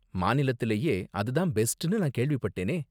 மாநிலத்திலேயே அது தான் பெஸ்ட்னு நான் கேள்விப்பட்டேனே?